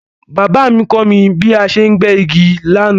Baba mí kọ́ mí bí a ṣe ń gbẹ́ igi lánàá